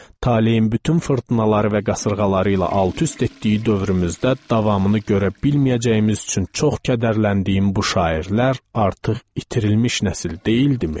Taleyin bütün fırtınaları və qasırğaları ilə alt-üst etdiyi dövrümüzdə davamını görə bilməyəcəyimiz üçün çox kədərləndiyim bu şairlər artıq itirilmiş nəsil deyildimi?